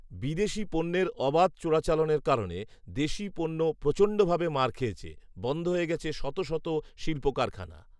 বিদেশী পণ্যের অবাধ চোরাচালানের কারণে দেশীয় পণ্য প্রচণ্ডভাবে মার খেয়েছে, বন্ধ হয়ে গেছে শত শত শিল্প কারখানা